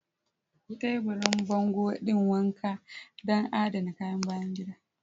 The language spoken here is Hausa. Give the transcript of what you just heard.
Taburin bango ɗin wanka don adana kayan bayan gida.